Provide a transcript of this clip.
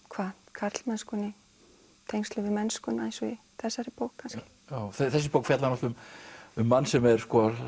karlmennskuna í tengslum við mennskuna eins og í þessari bók kannski þessi bók fjallar náttúrulega um mann sem er